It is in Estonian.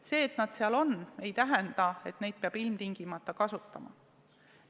See, et need seal on, ei tähenda, et neid peab ilmtingimata kasutama.